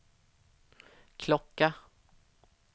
klocka